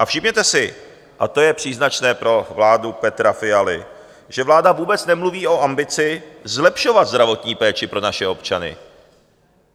A všimněte si, a to je příznačné pro vládu Petra Fialy, že vláda vůbec nemluví o ambici zlepšovat zdravotní péči pro naše občany.